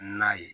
Na ye